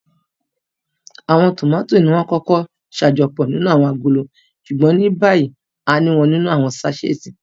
Awọn tómati niwọn ǹkọkọ ṣajọpọ ninu awọn agolo ṣugbọn nibayi àni wọn ninu awọn saṣeti